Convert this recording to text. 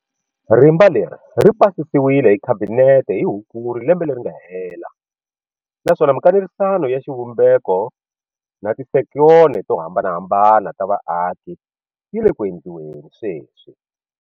Rimba leri ri pasisiwile hi Khabinete hi Hukuri lembe leri nga hela naswona mika nerisano ya xivumbeko na ti sekitara to hambanahambana ta vaaki yi le ku endliweni sweswi.